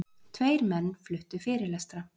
Tveir menn fluttu fyrirlestra.